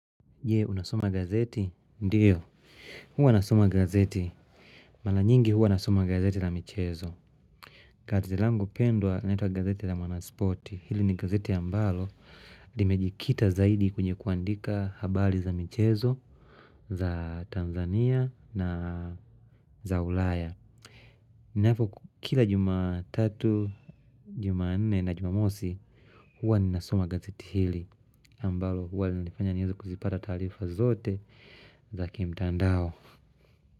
Je, unasoma gazeti? Ndiyo, huwa nasoma gazeti. Maranyingi huwa nasoma gazeti la michezo. Kazi langu pendwa linaitwa gazeti la mwanasporti. Hili ni gazeti ambalo limejikita zaidi kwenye kuandika habari za michezo, za Tanzania na za ulaya. Nafo kila juma 3, juma 4 na juma mosi huwa ninasoma gazeti hili ambalo huwa linafanya niweze kuzipata taarifa zote Zakimtandao.